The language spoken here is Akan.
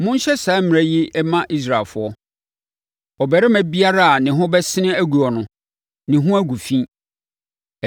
“Monhyɛ saa mmara yi mma Israelfoɔ: ‘Ɔbarima biara a ne ho bɛsene aguo no, ne ho agu fi.